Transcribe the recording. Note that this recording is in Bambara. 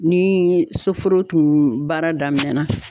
Ni soforo tun baara damina.